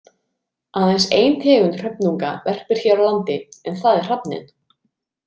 Aðeins ein tegund hröfnunga verpir hér á landi en það er hrafninn.